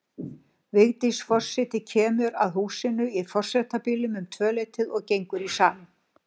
Vigdís forseti kemur að húsinu í forsetabílnum um tvöleytið og gengur í salinn.